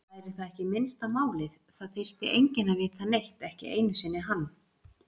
Væri það ekki minnsta málið, það þyrfti enginn að vita neitt, ekki einu sinni hann.